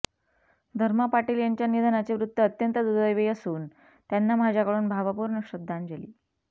धर्मा पाटील यांच्या निधनाचे वृत्त अत्यंत दुर्दैवी असून त्यांना माझ्याकडून भावपूर्ण श्रद्धांजली